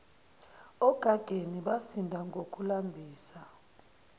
ogageni basinda ngokulambisa